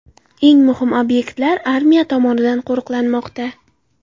Eng muhim obyektlar armiya tomonidan qo‘riqlanmoqda.